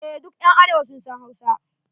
EH, duk ƴan arewa sun san Hausa.